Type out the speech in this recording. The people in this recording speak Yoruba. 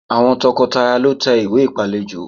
Àwọn tọkọtaya lọ tẹ ìwé ìpálejò